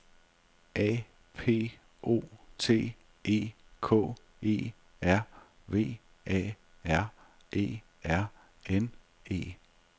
A P O T E K E R V A R E R N E